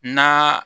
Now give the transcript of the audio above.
N'a